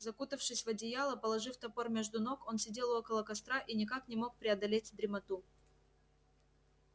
закутавшись в одеяло положив топор между ног он сидел около костра и никак не мог преодолеть дремоту